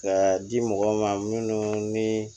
Ka di mɔgɔw ma minnu ni